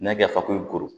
N'a kɛ fakoyi ko